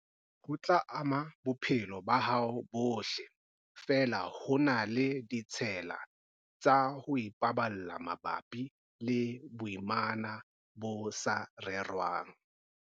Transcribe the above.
Ho tla ama bophelo ba hao bohle, feela ho na le ditshela tsa ho ipaballa mabapi le boimana bo sa rerwang.